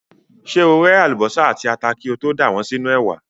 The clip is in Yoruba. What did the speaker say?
Ṣé o ré àlùbọ́sà àti ata kí o tó dà wọ́n sínú ẹ̀wà?